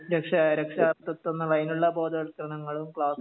രക്ഷ രക്ഷാകർതൃത്വം എന്നുള്ള അതിനുള്ള ബോധവൽക്കരണങ്ങള് ക്ലാസ്സുകള്